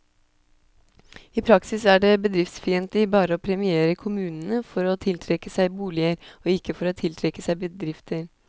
I praksis er det bedriftsfiendtlig bare å premiere kommunene for å tiltrekke seg boliger, og ikke for å tiltrekke seg bedrifter.